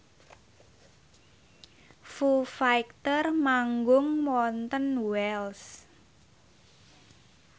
Foo Fighter manggung wonten Wells